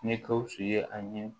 Ni gawusu ye a ɲɛ